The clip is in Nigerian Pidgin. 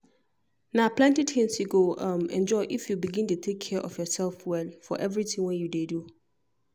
na plenty tins you go um enjoy if you begin dey take care of yourself well for everything wey you dey do